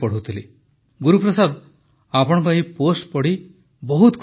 ଗୁରୁପ୍ରସାଦ ଆପଣଙ୍କ ଏହି ପୋଷ୍ଟ୍ ପଢ଼ି ବହୁତ ଖୁସି ଲାଗିଲା